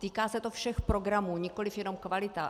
Týká se to všech programů, nikoliv jenom kvalita.